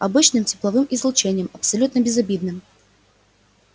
обычным тепловым излучением абсолютно безобидным